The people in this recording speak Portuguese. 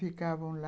Ficavam lá.